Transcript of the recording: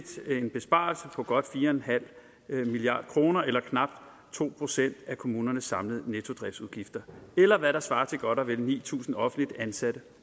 besparelse på godt fire milliard kroner eller knap to procent af kommunernes samlede nettodriftsudgifter eller hvad der svarer til godt og vel ni tusind offentligt ansatte